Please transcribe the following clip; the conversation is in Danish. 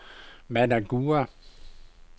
Managua